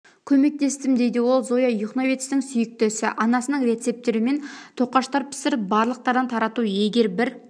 көмектестім дейді ол зоя юхновецтің сүйікті ісі анасының рецептімен тоқаштар пісіріп барлықтарына тарату егер бір